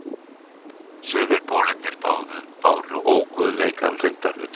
Sumir bolirnir báru óguðleikann reyndar utan á sér.